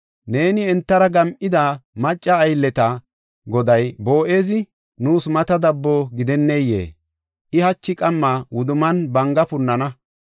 Neeni entara gam7ida macca aylleta goday, Boo7ezi, nuus mata dabbo gidenneyee? I hachi qamma wudumman banga punana.